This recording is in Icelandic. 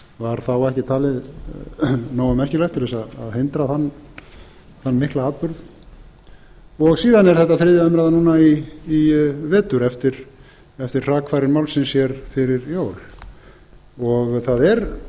var þá ekki talið nógu merkilegt til að hindra þann mikla atburð síðan er þetta þriðja umræðan núna í vetur eftir hrakfarir málsins hér fyrir jól það